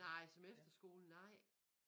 Nej som efterskole nej